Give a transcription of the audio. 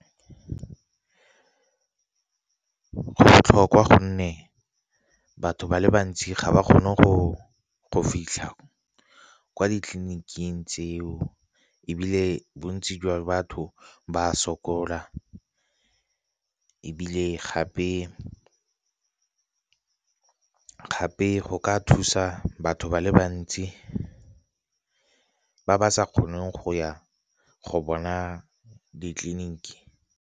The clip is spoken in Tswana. Go botlhokwa gonne batho ba le bantsi ga ba kgone go fitlha kwa ditleliniking tseo, ebile bontsi jwa batho ba sokola. Ebile gape go ka thusa batho ba le bantsi ba ba sa kgoneng go ya go bona ditleliniki.